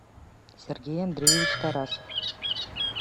сергей андреевич тарасов